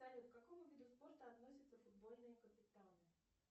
салют к какому виду спорта относятся футбольные капитаны